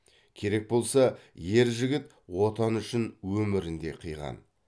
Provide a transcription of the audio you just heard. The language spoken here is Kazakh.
керек болса ер жігіт отаны үшін өмірін де қиған